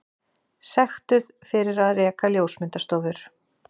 Sektuð fyrir að reka ljósmyndastofur